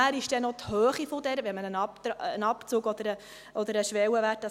Nachher ist auch noch die Höhe offengelassen, wenn man einen Abzug oder einen Schwellenwert wählt.